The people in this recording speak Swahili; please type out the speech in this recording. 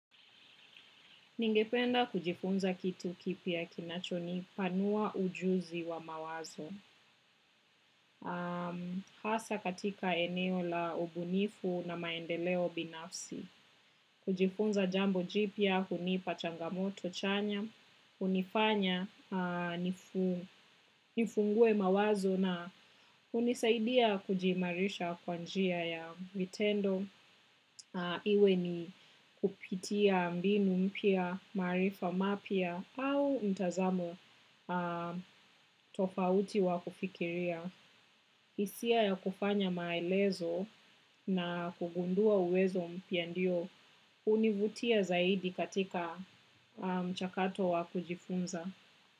Ningependa kujifunza kitu kipya kinachonipanua ujuzi wa mawazo. Hasa katika eneo la ubunifu na maendeleo binafsi. Kujifunza jambo jipya, hunipa changamoto chanya, hunifanya, nifungue mawazo na hunisaidia kujiimarisha kwa njia ya vitendo. Iwe ni kupitia mbinu mpya maarifa mapya au mtazamo tofauti wa kufikiria. Isia ya kufanya maelezo na kugundua uwezo mpya ndio univutia zaidi katika mchakato wa kujifunza.